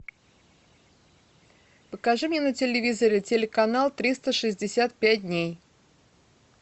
покажи мне на телевизоре телеканал триста шестьдесят пять дней